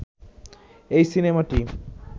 এই সিনেমাটি